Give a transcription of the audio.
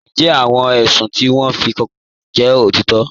Ǹjẹ́ àwọn èṣùn ti wọn fí kàn jẹ́ otitọ́?